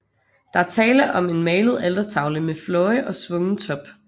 Der er tale om en malet altertavle med fløje og svungen top